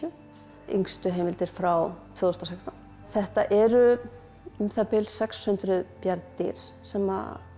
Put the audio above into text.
yngstu heimildir frá tvö þúsund og sextán þetta eru um það bil sex hundruð bjarndýr sem